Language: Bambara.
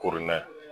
Koronna